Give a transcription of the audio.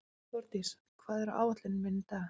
Þórdís, hvað er á áætluninni minni í dag?